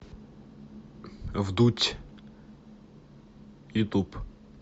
вдудь ютуб